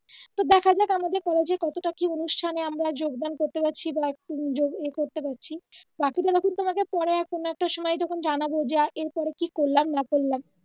তো দেখা যাক আমাদের কলেজে কতটা কি অনুষ্ঠানে আমরা যোগদান করতে পারছি বা একটু উম যোগ ইয়ে করতে পারছি বাকিটা তখন তোমাকে পরে এক কোন একটা সময় যখন জানাবো যে এর পর ও কি করালাম না করলাম